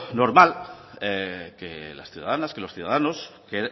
normal que las ciudadanas que los ciudadanos